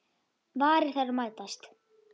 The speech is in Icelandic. Varir þeirra mætast.